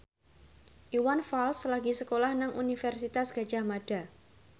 Iwan Fals lagi sekolah nang Universitas Gadjah Mada